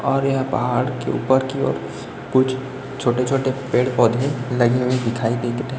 और यहाँ पहाड़ के उपर की ओर कुछ छोटे छोटे पेड़ पौधे लगी हुई दिखाई दे--